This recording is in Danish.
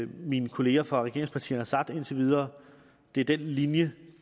mine kollegaer fra regeringspartierne har sagt indtil videre det er den linje